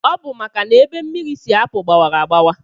Ọbu maka na ebe mmiri si apu gbawara agbawa.